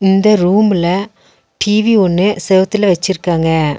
இந்த ரூம்ல டி_வி ஒண்ணு செவுத்துல வெச்சிருக்காங்க.